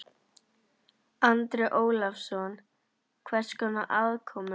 Andri Ólafsson: Hvers konar aðkomu?